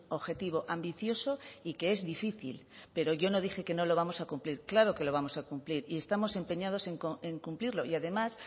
objetivo ambicioso y que es difícil pero yo no dije que no lo vamos a cumplir claro que lo vamos a cumplir y estamos empeñados en cumplirlo y además